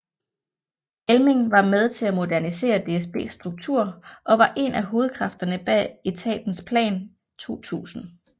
Elming var med til at modernisere DSBs struktur og var en af hovedkræfterne bag etatens Plan 2000